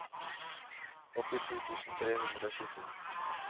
åttisju tusen tre hundre og tjueto